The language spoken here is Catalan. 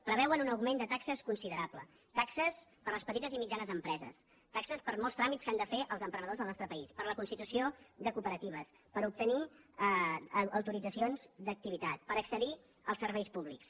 preveuen un augment de taxes considerable taxes per a les petites i mitjanes empreses taxes per molts tràmits que han de fer els emprenedors del nostre país per la constitució de cooperatives per obtenir autoritzacions d’activitat per accedir als serveis públics